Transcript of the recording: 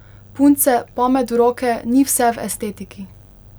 Punce, pamet v roke, ni vse v estetiki.